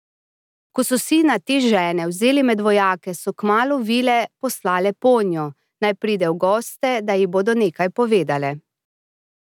Ko so sina te žene vzeli med vojake, so kmalu vile poslale ponjo, naj pride v goste, da ji bodo nekaj povedale.